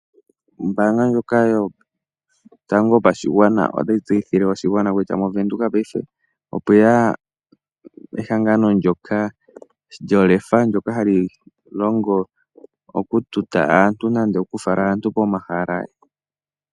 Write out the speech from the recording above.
Ombaanga ndjoka yotango yopashigwana otayi tseyithile oshigwana kutya mOvenduka paife opweya ehangano ndyoka lyolefa ndyoka hali longo okututa aantu nande okufala aantu pomahala.